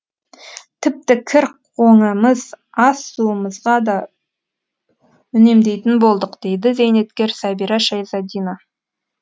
тіпті кір қоңымыз ас суымызға да үнемдейтін болдық дейді зейнеткер сәбира шайзадина